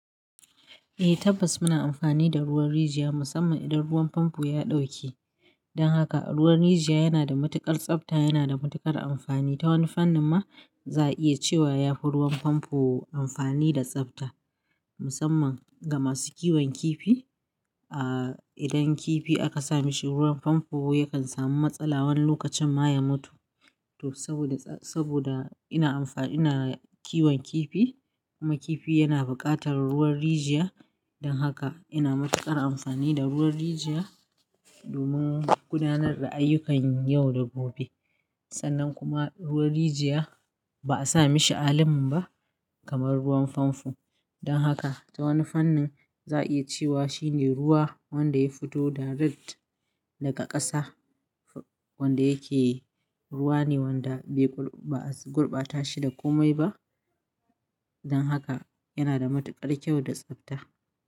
Eh tabbas muna amfani da ruwan rijiya musamman idan ruwan famfo ya ɗauke. Don haka ruwan rijiya yana da matuƙar tsabta, yana da matuƙar amfani. Ta wani fannin ma za a iya cewa yafi ruwan famfo amfani da tsabta musamman ga masu kiwon kifi. Ah idan kifi aka sa mishi ruwan famfo yakan samu matsala wani lokacin ma ya mutu. To saboda, saboda ina amfa-- ina kiwon kifi kuma kifi yana bukatar ruwan rijiya don haka ina matuƙar amfani da ruwan rijiya domin gudanar da ayyukan yau da gobe. Sannan kuma ruwan rijiya ba a sa mishi allin ba kamar ruwan famfo. Don haka ta wani fannin za a iya cewa shine ruwa wanda ya fito direct daga ƙasa. Wanda yake ruwa ne wanda bai bul-- ba a gurbata shi da kome ba. Don haka yana da matuƙar kyau da tsabta.